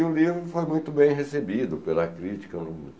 E o livro foi muito bem recebido pela crítica.